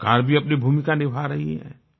सरकार भी अपनी भूमिका निभा रही है